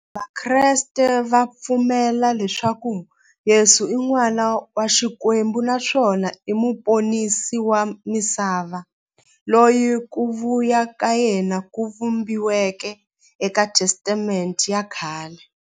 Vakreste va pfumela leswaku Yesu i n'wana wa Xikwembu naswona i muponisi wa misava, loyi ku vuya ka yena ku vhumbiweke e ka Testamente ya khale.